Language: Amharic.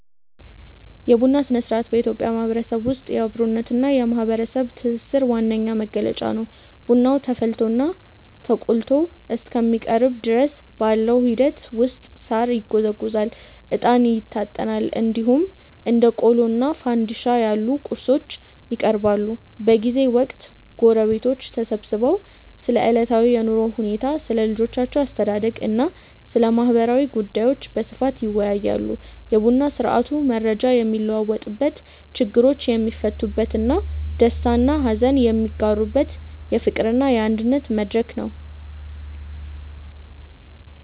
የቡና ሥነ-ሥርዓት በኢትዮጵያ ማህበረሰብ ውስጥ የአብሮነትና የማህበራዊ ትስስር ዋነኛ መገለጫ ነው። ቡናው ተቆልቶና ተፈልቶ እስከሚቀርብ ድረስ ባለው ሂደት ውስጥ ሳር ይጎዘጎዛል፣ እጣን ይታጠናል፣ እንዲሁም እንደ ቆሎና ፋንድሻ ያሉ ቁርሶች ይቀርባሉ። በዚህ ወቅት ጎረቤቶች ተሰብስበው ስለ ዕለታዊ የኑሮ ሁኔታ፣ ስለ ልጆች አስተዳደግና ስለ ማህበራዊ ጉዳዮች በስፋት ይወያያሉ። የቡና ስርአቱ መረጃ የሚለዋወጥበት፣ ችግሮች የሚፈቱበትና ደስታና ሀዘን የሚጋሩበት የፍቅርና የአንድነት መድረክ ነው።